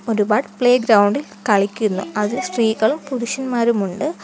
ഒരുപാട് playground ഇൽ കളിക്കുന്നു അതിൽ സ്ത്രീകളും പുരുഷന്മാരും ഉണ്ട്.